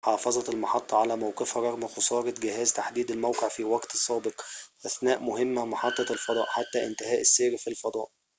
حافظت المحطّة على موقفها رغم خسارة جهاز تحديد الموقع في وقت سابق أثناء مهمّة محطّة الفضاء حتى انتهاء السير في الفضاء